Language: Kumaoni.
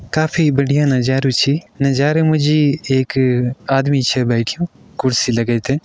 काफी बढ़िया नजरू छै नज़ारे माजी एक आदमी छै बैठ्यूं कुर्सी लगे के।